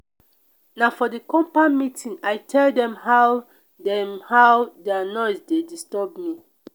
na for di compound meeting i tell dem how dem how their noise dey disturb me.